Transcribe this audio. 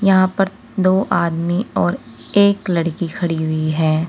यहां पर दो आदमी और एक लड़की खड़ी हुई है।